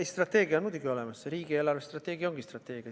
Ei, strateegia on meil muidugi olemas, riigi eelarvestrateegia ongi strateegia.